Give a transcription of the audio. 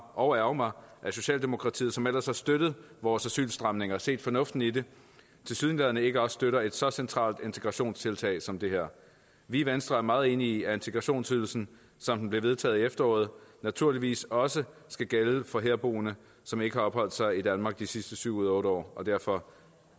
og ærgre mig at socialdemokratiet som ellers har støttet vores asylstramninger og set fornuften i dem tilsyneladende ikke også støtter et så centralt integrationstiltag som det her vi i venstre er meget enige i at integrationsydelsen som den blev vedtaget i efteråret naturligvis også skal gælde for herboende som ikke har opholdt sig i danmark de sidste syv ud af otte år og derfor